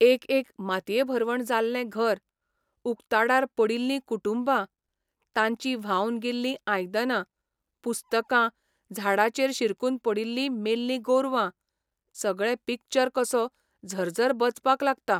एक एक मातयेभरवण जाल्ले घर, उक्ताडार पडिल्लीं कुटुंबां, तांचीं व्हांवन गेल्लीं आयदनां, पुस्तकां, झाडाचेर शिरकून पडिल्ली मेल्लीं गोरवां, सगळें पिक्चर कसो झरझर बचपाक लागता.